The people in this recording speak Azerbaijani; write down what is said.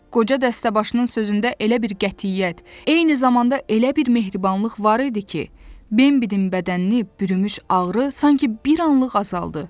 Qoca dəstəbaşının sözündə elə bir qətiyyət, eyni zamanda elə bir mehribanlıq var idi ki, Bembidən bədənini bürümüş ağrı sanki bir anlıq azaldı.